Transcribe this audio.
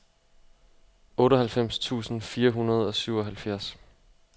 otteoghalvfems tusind fire hundrede og syvoghalvfjerds